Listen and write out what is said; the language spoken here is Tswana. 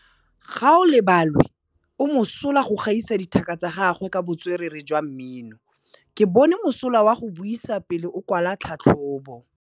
Gaolebalwe o mosola go gaisa dithaka tsa gagwe ka botswerere jwa mmino. Ke bone mosola wa go buisa pele o kwala tlhatlhobô.